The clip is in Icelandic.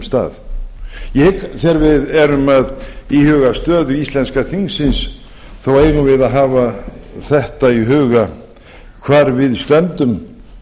stað ég hygg að þegar við erum að íhuga stöðu íslenska þingsins eigum við að hafa þetta í huga hvar við stöndum